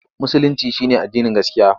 Musulinci shi ne addinin gaskiya.